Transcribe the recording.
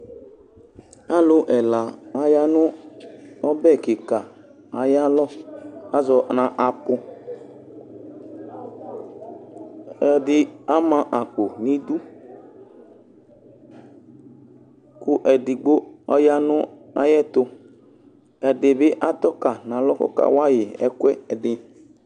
Alʋ ɛla aya nʋ ɔbɛ kika ayiʋ alɔazɔ nu apuu ɛdi ama akpo nʋ idukʋ edigbo ɔya nʋ ayiʋ ɛtuɛdi bi atɔ kayi nʋ alɔkʋ ɔkawayi ɛkʋ ɛdi